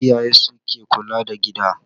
Iyaye su ke kula da gida